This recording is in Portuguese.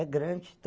É grande.